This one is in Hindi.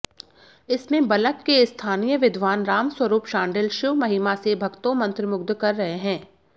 इसमें बलग के स्थानीय विद्वान रामस्वरूप शांडिल शिव महिमा से भक्तों मंत्रमुग्ध कर रहे हैं